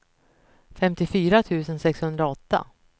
femtiofyra tusen sexhundraåtta